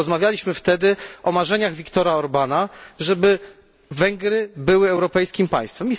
Rozmawialiśmy wtedy o marzeniach Viktora Orbána, żeby Węgry były europejskim państwem.